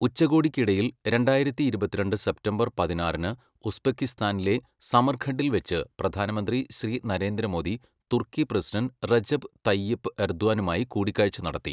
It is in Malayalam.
ഉച്ചകോടിക്കിടയിൽ രണ്ടായിരത്തി ഇരുപത്തിരണ്ട് സെപ്റ്റംബർ പതിനാറിന് ഉസ്ബെക്കിസ്ഥാനിലെ സമർഖണ്ഡിൽ വച്ച് പ്രധാനമന്ത്രി ശ്രീ നരേന്ദ്ര മോദി തുർക്കി പ്രസിഡന്റ് റെജപ് തയ്യിപ് എർദ്വാനുമായി കൂടിക്കാഴ്ച നടത്തി.